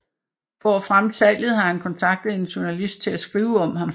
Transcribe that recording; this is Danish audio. For at fremme salget har han kontaktet en journalist til at skrive om ham